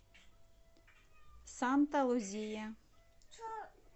санта лузия